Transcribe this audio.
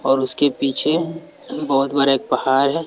और उसके पीछे बहोत बरा पहाड़ है।